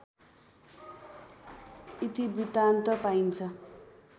इतिवृत्तान्त पाइन्छ